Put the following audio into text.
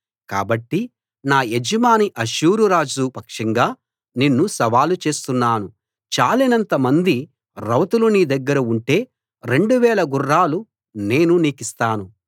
కాబట్టి నా యజమాని అష్షూరు రాజు పక్షంగా నిన్ను సవాలు చేస్తున్నాను చాలినంత మంది రౌతులు నీ దగ్గర ఉంటే రెండువేల గుర్రాలు నేను నీకిస్తాను